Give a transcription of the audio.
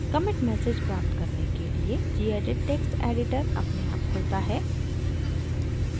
commit message प्राप्त करने के लिए gedit text editor अपने आप खुलता है